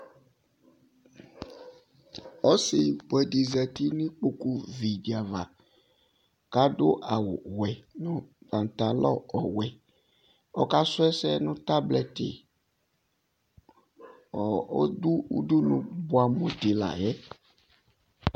Ɔsɩbʋɛ dɩ zati nʋ ikpokuvi dɩ ava kʋ adʋwɛ nʋ pãtalɔ ɔwɛ Ɔkasʋ ɛsɛ nʋ tablɛtɩ Ɔɔ ɔdʋ udunu bʋɛamʋ dɩ la yɛ